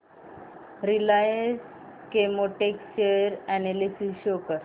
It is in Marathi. Reliance Chemotex share analysis show कर